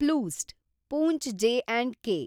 ಪ್ಲೂಸ್ಟ್ , Poonch J and K